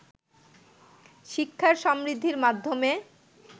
শিক্ষার সমৃদ্ধির মাধ্যমে